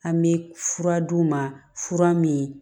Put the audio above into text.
An bɛ fura d'u ma fura min